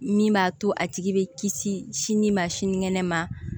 Min b'a to a tigi bɛ kisi sini ma sinikɛnɛ ma